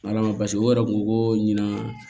Ala ma basi o yɛrɛ ko ko ɲina